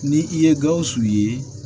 Ni i ye gawusu ye